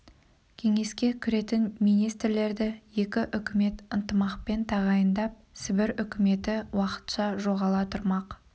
кеңеске кіретін министрлерді екі үкімет ынтымақпен тағайындап сібір үкіметі уақытша жоғала тұрмақ